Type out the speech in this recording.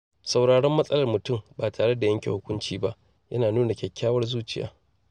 Sauraron matsalar mutum ba tare da yanke hukunci ba yana nuna kyakkyawar zuciya.